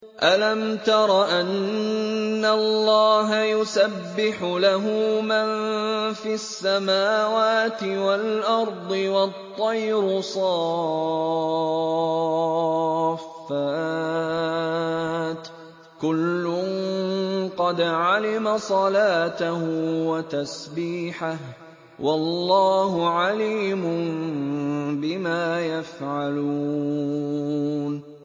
أَلَمْ تَرَ أَنَّ اللَّهَ يُسَبِّحُ لَهُ مَن فِي السَّمَاوَاتِ وَالْأَرْضِ وَالطَّيْرُ صَافَّاتٍ ۖ كُلٌّ قَدْ عَلِمَ صَلَاتَهُ وَتَسْبِيحَهُ ۗ وَاللَّهُ عَلِيمٌ بِمَا يَفْعَلُونَ